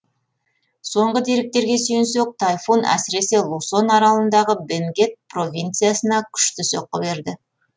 соңғы деректерге сүйенсек тайфун әсіресе лусон аралындағы бенгет провинциясына күшті соққы берді